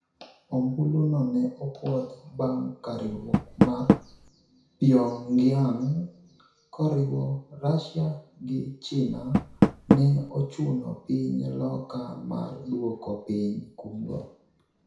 Ombulu no ne opuodh bang' ka riwruok mar Pyongyang, koriwo Russia gi China, ne ochuno piny loka mar duoko piny kum go